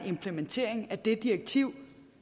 implementering af det direktiv